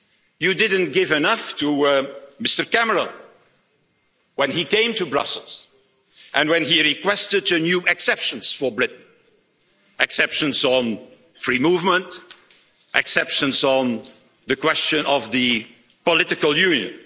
You didn't give enough to Mr Cameron when he came to Brussels and when he requested new exceptions for Britain exceptions on free movement, exceptions on the question of the political union.